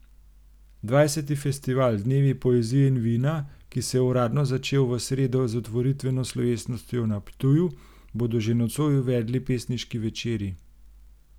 Dvajseti festival Dnevi poezije in vina, ki se uradno začel v sredo z otvoritveno slovesnostjo na Ptuju, bodo že nocoj uvedli pesniški večeri.